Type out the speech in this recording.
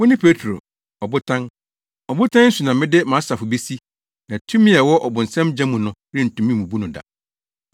Wone Petro, Ɔbotan, na ɔbotan yi so na mede mʼasafo besi, na tumi a ɛwɔ ɔbonsam gya mu no rentumi mmubu no da.